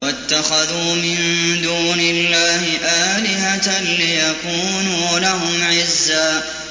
وَاتَّخَذُوا مِن دُونِ اللَّهِ آلِهَةً لِّيَكُونُوا لَهُمْ عِزًّا